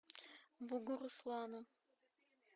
бугуруслану